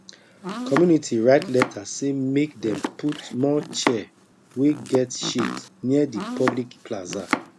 community write letter say make dem put more chair wey get shade near the public plaza